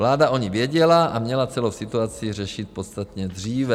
Vláda o ní věděla a měla celou situaci řešit podstatně dříve.